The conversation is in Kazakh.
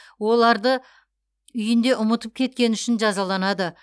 оларды үйінде ұмытып кеткені үшін жазаланады